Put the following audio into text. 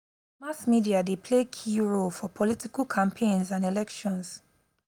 mass media dey play key role for political campaigns and elections.